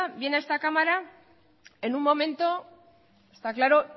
viene a esta cámara en un momento está claro